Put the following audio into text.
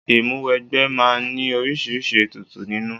Ìmúwẹgbẹ́ máa ń ní oríṣiríṣi ètùtù nínú.